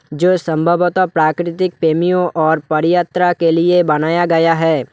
जो संभवतः प्राकृतिक प्रेमियों और पदयात्रा के लिए बनाया गया है।